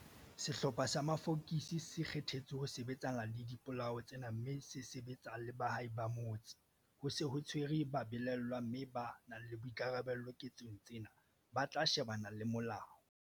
Sehlopha sa mafokisi se kgethetswe ho sebetsana le dipolao tsena mme se sebetsa le baahi ba motse. Ho se ho tshwerwe babelaellwa mme ba nang le boikarabelo ketsong tsena ba tla shebana le molao.